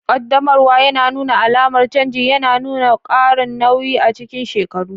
Ƙaddamarwa ya nuna alamar canji, yana nuna ƙarin nauyi a cikin shekaru.